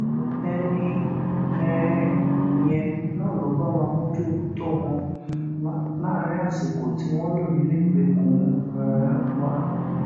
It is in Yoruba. ẹni um yẹn náà ló bá wa mójútó wọn láàrin àsìkò tí wọn lò nínú ìgbèkùn um wa